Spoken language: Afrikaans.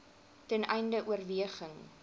ten einde oorweging